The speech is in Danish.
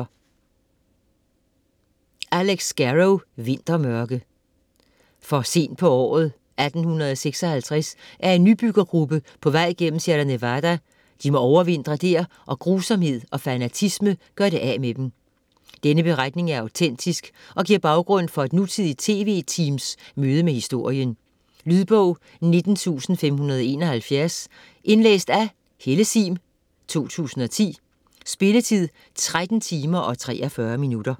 Scarrow, Alex: Vintermørke For sent på året 1856 er en nybyggergruppe på vej gennem Sierra Nevada, de må overvintre der, og grusomhed og fanatisme gør det af med dem. Denne beretning er autentisk og giver baggrund for et nutidigt TV-teams møde med historien. Lydbog 19571 Indlæst af Helle Sihm, 2010. Spilletid: 13 timer, 43 minutter.